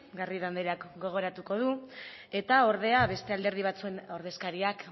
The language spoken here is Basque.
garrido andrea gogoratuko du eta ordea beste alderdi batzuen ordezkariak